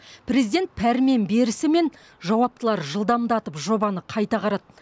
президент пәрмен берісімен жауаптылар жылдамдатып жобаны қайта қарады